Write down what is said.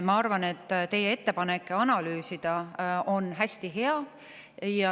Ma arvan, et teie ettepanek analüüsida on hästi hea.